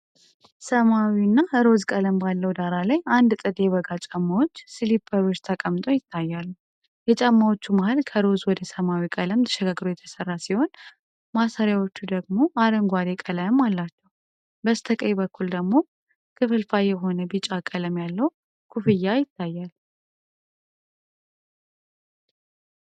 ሰማያዊና ሮዝ ቀለም ባለው ዳራ ላይ፣ አንድ ጥንድ የበጋ ጫማዎች (ስሊፐሮች) ተቀምጠው ይታያሉ። የጫማዎቹ መሃል ከሮዝ ወደ ሰማያዊ ቀለም ተሸጋግሮ የተሰራ ሲሆን፣ ማሰሪያዎቹ ደግሞ አረንጓዴ ቀለም አላቸው። በስተቀኝ በኩል ደግሞ ክፍልፋይ የሆነ ቢጫ ቀለም ያለው ኮፍያ ይታያል።